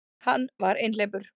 Hann var einhleypur.